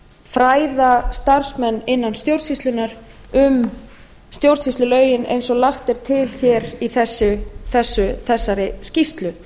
fræða starfsmenn innan stjórnsýslunnar um stjórnsýslulögin eins og lagt er til hér í þessari skýrslu